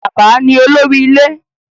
Bàbá ni olórí ilé.